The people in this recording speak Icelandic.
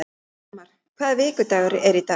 Þórmar, hvaða vikudagur er í dag?